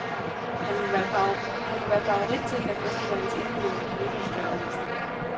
Han må være favorit til en af festivalens individuelle priser, skrev avisen.